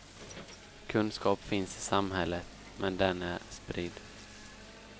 Kunskap finns i samhället men den är spridd.